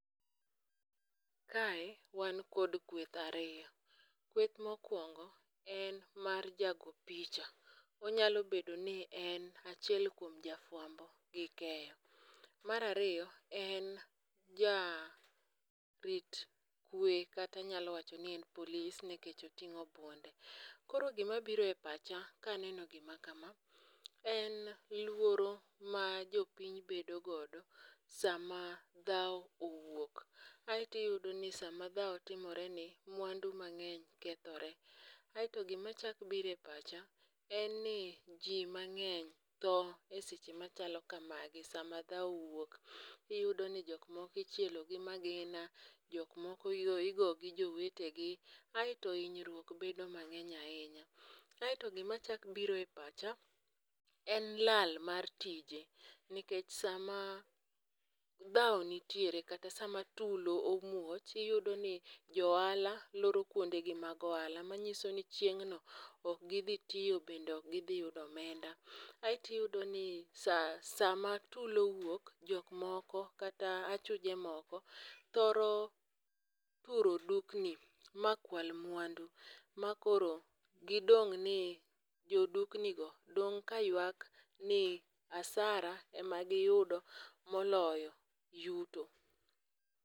Kae wan kod kweth ariyo, kweth mokwongo en mar jago picha, onyalo bedo ni en achiel kuom jafwambo gi keyo. Mar ariyo en jarit kwe kata anyalo wacho ni en polis nikech oting'o bunde. Koro gimabiro e pacha kaneno gima kama, en luoro ma jopiny bedo godo sama dhawo owuok, aeto iyudoni sama dhawo timoreni mwandu mang'eny kethore. aeto gimachako biro e pacha en ni ji mang'eny tho e seche machalo kamagi sama dahwo owuok, iyudo ni jok moko ichielo gi magina, jok moko igo gi jowetegi, aeto hinyruok bedo mang'eny ahinya, aeto gimachako biro e pacha en lal mar tije nikech sama dhawo nitiere kata sama tulo omuoch iyudoni jo ohala loro kwondegi mag ohala manyiso ni chieng'no ok gidhi tiyo bende ok gidhi yudo omenda, aeto iyudoni sama tula owuok jok moko kata achuje moko thoro turo dukni makwal mwandu makoro gidong' ni ,jodukni go dong' ka ywak ni asara ema giyuo moloyo yuto.